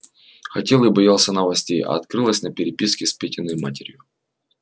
хотел и боялся новостей а открылось на переписке с петиной матерью